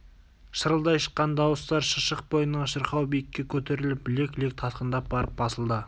шырылдай шыққан дауыстар шыршық бойынан шырқау биікке көтеріліп лек-лек тасқындап барып басылды